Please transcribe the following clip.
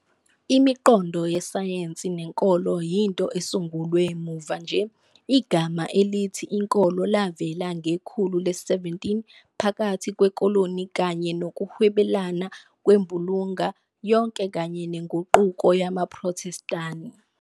Imiqondo yesayensi nenkolo yinto esungulwe muva nje- igama elithi inkolo lavela ngekhulu le-17 phakathi kwekoloni kanye nokuhwebelana kwembulunga yonke kanye neNguquko yamaPhrothestani.